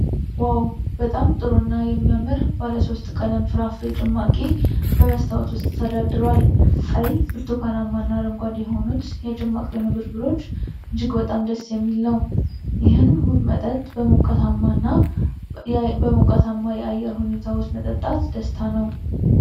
ዋው! በጣም ጥሩና የሚያምር ባለ ሶስት ቀለም ፍራፍሬ ጭማቂ በመስታወት ውስጥ ተደርድሯል። ቀይ፣ ብርቱካንማ እና አረንጓዴ የሆኑት የጭማቂው ንብርብሮች እጅግ በጣም ደስ የሚል ነው። ይህን ውብ መጠጥ በሞቃታማ የአየር ሁኔታ ውስጥ መጠጣት ደስታ ነው።